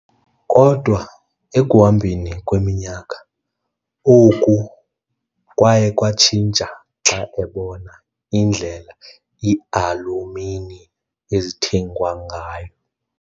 Kodwa ekuhambeni kweminyaka, oku kwaye kwatshintsha xa ebona indlela iialumini ezithengwa ngayo.